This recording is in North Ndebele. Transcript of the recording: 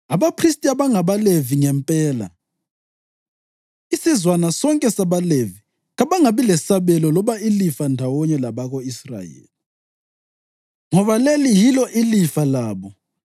“Abaphristi abangabaLevi ngempela, isizwana sonke sabaLevi kabangabi lesabelo loba ilifa ndawonye labako-Israyeli. Bazaphila ngemihlatshelo yokudla enikelwa kuThixo, ngoba leli yilo ilifa labo.